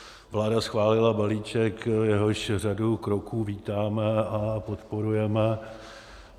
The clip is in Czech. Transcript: Vláda schválila balíček, jehož řadu kroků vítáme a podporujeme.